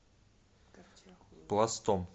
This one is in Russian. пластом